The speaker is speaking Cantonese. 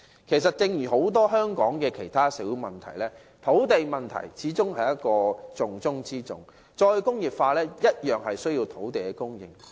其實，在香港眾多社會問題當中，土地問題始終是重中之重；"再工業化"同樣需要土地供應。